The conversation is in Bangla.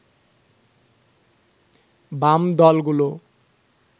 বাম দলগুলো